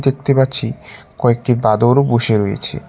দেখতে পাচ্ছি কয়েকটি বাঁদরও বসে রয়েছে।